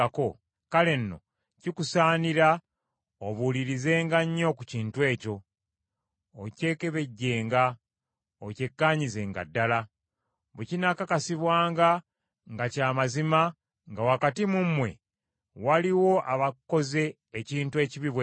kale nno kikusaanira obuulirizenga nnyo ku kintu ekyo, okyekebejjenga, okyekkaanyizenga ddala. Bwe kinaakakasibwanga nga kya mazima, nga wakati mu mmwe waliwo abakoze ekintu ekibi bwe kityo,